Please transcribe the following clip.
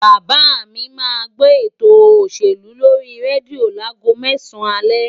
Bàbá mi máa gbó eto òṣèlú lórí rédíò láago mẹ́sàn-án alẹ́